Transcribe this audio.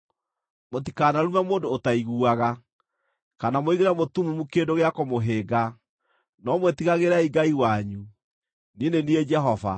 “ ‘Mũtikanarume mũndũ ũtaiguaga, kana mũigĩre mũtumumu kĩndũ gĩa kũmũhĩnga, no mwĩtigagĩrei Ngai wanyu. Niĩ nĩ niĩ Jehova.